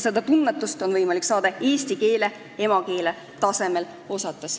Seda tunnetust on võimalik saada eesti keelt emakeele tasemel osates.